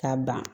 K'a ban